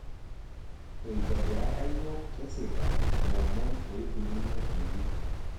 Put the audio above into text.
Eitobiraka yiok kesita lomon oikununo iji